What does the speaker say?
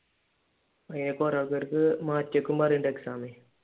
അതിനിടയ്ക്ക് കുറെ ആൾക്കാർക്ക് മാറ്റിവയ്ക്കും പറയുന്നുണ്ട് എക്സാമെ